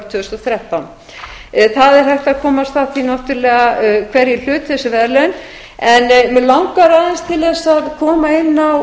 og þrettán það er hægt að komast að því náttúrlega hverjir hlutu þessi verðlaun en mig langar aðeins til þess að koma inn á